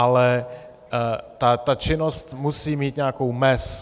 Ale ta činnost musí mít nějakou mez.